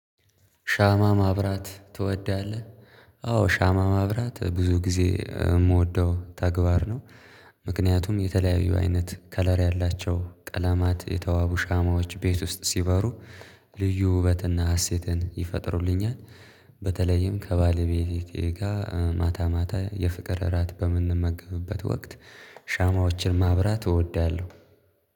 ሻማ ማብራት ትወዳለህ? አዎ ሻማ ማብራት ብዙ ጊዜ እምወደው ተግባር ነው። ምክንያቱም የተለያዩ አይነት ከለር ያላቸው ቀለማት የተዋቡ ሻማዎች ቤት ውስጥ ሲበሩ ልዩ ውበትና ሀሴትን ይፈጥሩልኛል። በተለይም ከባለቤቴ ጋር ማታ ማታ የፍቅር እራት በምንመገብበት ወቅት ሻማዎችን ማብራት እወዳለሁ።